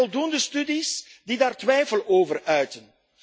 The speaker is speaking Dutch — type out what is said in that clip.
Er zijn voldoende studies die daar twijfel over uiten.